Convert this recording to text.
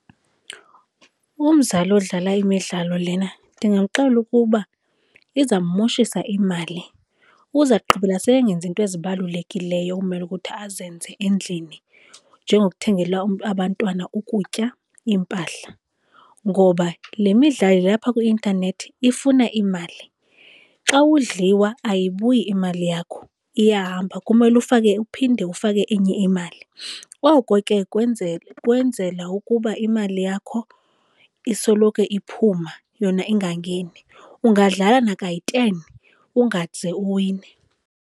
Umzali odlala imidlalo lena ndingamxelela ukuba izammoshisa imali uza kugqibela sengenzi iinto ezibalulekileyo ekumele ukuthi azenze endlini njengokuthengela abantwana ukutya, iimpahla, ngoba le midlalo ilapha kwi-intanethi ifuna imali. Xa udliwa ayibuyi imali yakho, iyahamba. Kumele ufake, uphinde ufake enye imali. Oko ke kwenzela ukuba imali yakho isoloko iphuma yona ingangeni. Ungadlala nakayi-ten ungaze uwine.